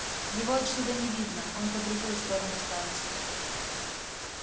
его отсюда не видно он по другую сторону станции